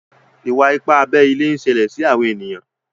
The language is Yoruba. iwa-ipa abé ilé nṣele sí àwọn ènìyàn.